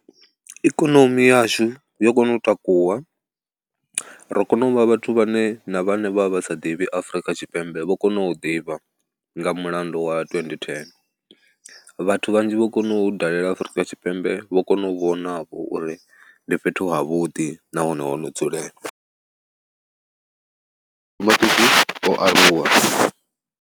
Ikonomi yashu yo kona u takuwa, ro kona u vha vhathu vhane, na vhane vha vha vha sa ḓivhi Afrika Tshipembe vho kona u ḓivha nga mulandu wa twendi thene, vhathu vhanzhi vho kona u dalela Afrika Tshipembe vho kona u vhonavho uri ndi fhethu havhuḓi nahone ho no dzulelea. Mabindu o aluwa.